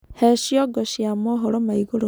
he cĩongo cia mohoro ma iguru